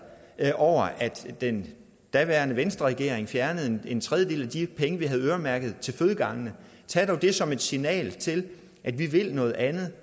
over at den daværende venstreregering fjernede en tredjedel af de penge vi havde øremærket til fødegangene tag dog det som et signal til at vi vil noget andet